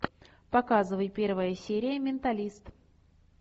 показывай первая серия менталист